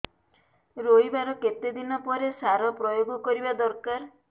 ରୋଈବା ର କେତେ ଦିନ ପରେ ସାର ପ୍ରୋୟାଗ କରିବା ଦରକାର